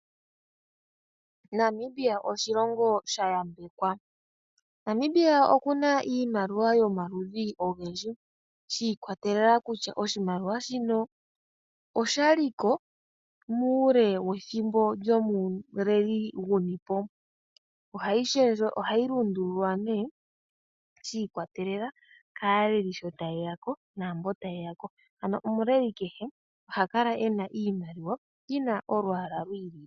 Namibia oshilongo sha yambekwa. Namibia oku na iimaliwa yomaludhi ogendji. Shiikwatelela kutya oshimaliwa shino oshaliko, muule wethimbo lyomuleli gunipo. Oha yi shendje, oha yi lundululwa nee shiikwatelela kaaleli sho tayeya ko, naambono tayeya ko. Ano omuleli kehe oha kala ena iimaliwa, yi na olwaala lwiili.